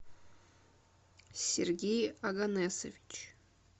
сергей оганесович